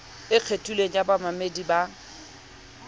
e kgethilweng ya bamamedi ba